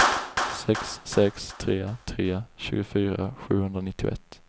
sex sex tre tre tjugofyra sjuhundranittioett